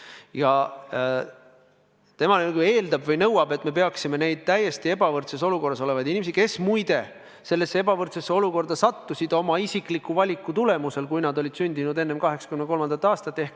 Tema nagu eeldab või nõuab, et me peaksime neid täiesti ebavõrdses olukorras olevaid inimesi, kes, muide, sellesse ebavõrdsesse olukorda sattusid oma isikliku valiku tulemusel, kui nad olid sündinud enne 1983. aastat.